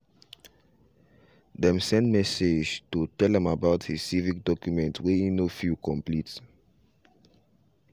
them send message to tell am about his civic documents way he no fill complete